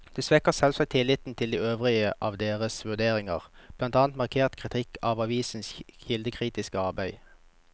Det svekker selvsagt tilliten til de øvrige av deres vurderinger, blant annet markert kritikk av avisenes kildekritiske arbeid.